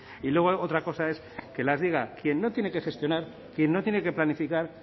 y luego otra cosa es que las diga quien no tiene que gestionar quien no tiene que planificar